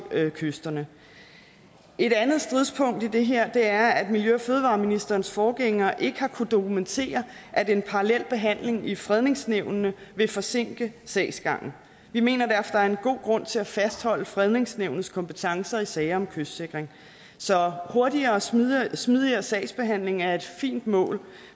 kysterne et andet stridspunkt i det her er at miljø og fødevareministerens forgænger ikke har kunnet dokumentere at en parallel behandling i fredningsnævnene vil forsinke sagsgangen vi mener derfor er en god grund til at fastholde fredningsnævnets kompetencer i sager om kystsikring så hurtigere og smidigere smidigere sagsbehandling er et fint mål